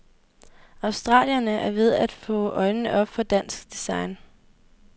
Australiere er ved at få øjnene op for dansk design.